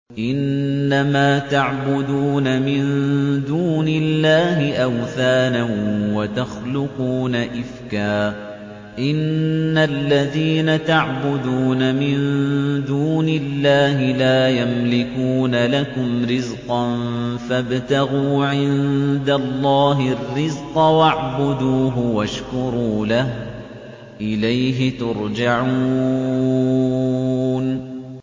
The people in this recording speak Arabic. إِنَّمَا تَعْبُدُونَ مِن دُونِ اللَّهِ أَوْثَانًا وَتَخْلُقُونَ إِفْكًا ۚ إِنَّ الَّذِينَ تَعْبُدُونَ مِن دُونِ اللَّهِ لَا يَمْلِكُونَ لَكُمْ رِزْقًا فَابْتَغُوا عِندَ اللَّهِ الرِّزْقَ وَاعْبُدُوهُ وَاشْكُرُوا لَهُ ۖ إِلَيْهِ تُرْجَعُونَ